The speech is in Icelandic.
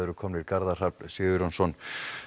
eru komnir Garðar Hrafn Sigurjónsson